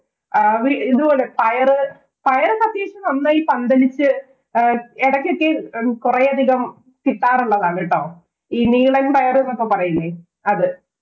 അവര് ഇതുപോലെ പയറ് പയറോക്കെ അത്യാവശ്യം നന്നായി പന്തലിച്ച് എടക്കൊക്കെ കൊറേയധികം കിട്ടാറുള്ളതാണ് കേട്ടോ. ഈ നീളന്‍ പയറ് എന്നൊക്കെ പറയില്ലേ അത്.